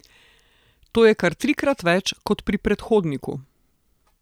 To je kar trikrat več kot pri predhodniku.